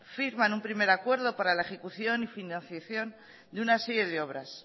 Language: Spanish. firman un primer acuerdo para la ejecución y financiación de una serie de obras